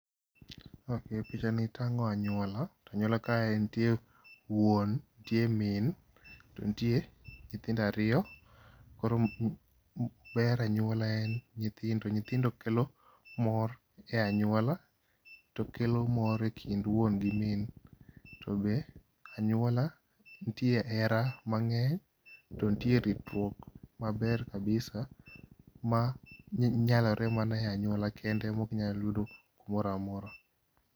Picha ni tang'o anyuola . Anyuola ka ntie wuon ntie min to ntie nyithindo ariyo. Koro ber anyuola en nyithindo, nyithindo kelo mor e anyuola to kelo mor e kind wuon gi min. To be anyuola ntie hera mang'eny to ntie ritruok maber kabisa ma nyalore mana e anyuola kende mok inya yudo kumoramora.